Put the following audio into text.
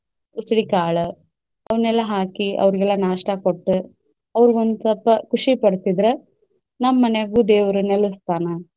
ಉಸಳಿ ಕಾಳ ಅವ್ನೆಲ್ಲಾ ಹಾಕಿ ಅವ್ರಿಗೆಲ್ಲಾ नाश्ता ಕೊಟ್ಟ್ ಅವರಿಗೊಂದ್ ಸ್ವಲ್ಪ ಖುಷಿ ಪಡ್ಸಿದ್ರ ನಮ್ಮ ಮಾನ್ಯಾಗು ದೇವ್ರು ನೆಲಸ್ತಾನ.